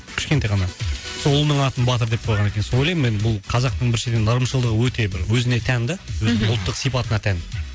кішкентай ғана сол ұлының атын батыр деп қойған екен сол ойлаймын мен бұл қазақтың біріншіден ырымшылдығы өте бір өзіне тән да өзінің ұлттық сипатына тән